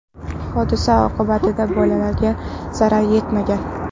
Hodisa oqibatida bolaga zarar yetmagan.